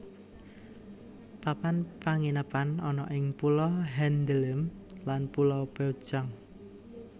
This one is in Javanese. Papan panginepan ana ing Pulo Handeuleum lan Pulo Peucang